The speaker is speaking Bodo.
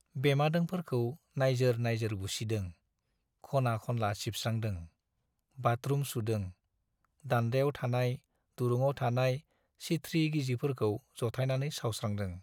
बेमादोंफोरखौ नाइजोर नाइजोर बुसिदों, खना खनला सिबस्रांदों, बाथरुम सुदों, दान्दायाव थानाय, दुरुङाव थानाय सिथ्रि गिजिफोरखौ जथायनानै सावस्रांदों।